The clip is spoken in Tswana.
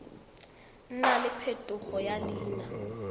nna le phetogo ya leina